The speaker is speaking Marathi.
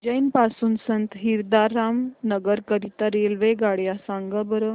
उज्जैन पासून संत हिरदाराम नगर करीता रेल्वेगाड्या सांगा बरं